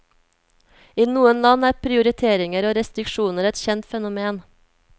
I noen land er prioriteringer og restriksjoner et kjent fenomen.